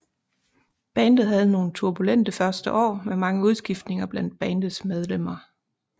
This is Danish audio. Bandet havde nogle turbulente første år med mange udskiftninger blandt bandets medlemmer